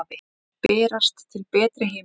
Þeir berast til betri heima.